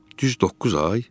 Düz doqquz ay?